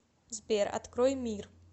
сбер открой мир